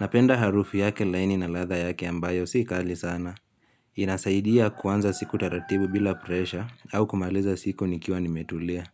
Napenda harufu yake laini na ladhaa yake ambayo si kali sana. Inasaidia kuanza siku taratibu bila presha au kumaliza siku nikiwa nimetulia.